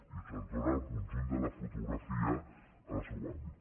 i això ens dóna el conjunt de la fotografia en el seu àmbit